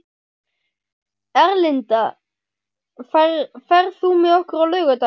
Erlinda, ferð þú með okkur á laugardaginn?